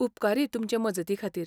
उपकारी तुमचे मजती खातीर.